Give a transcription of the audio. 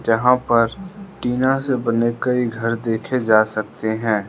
यहां पर टीना से बने कई घर देखें जा सकते हैं।